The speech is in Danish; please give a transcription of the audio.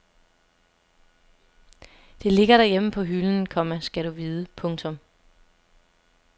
Det ligger derhjemme på hylden, komma skal du vide. punktum